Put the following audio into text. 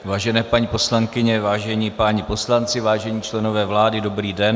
Vážené paní poslankyně, vážení páni poslanci, vážení členové vlády, dobrý den.